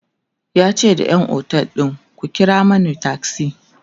yace da ƴan otel ɗin "ku kira Mani taksi!"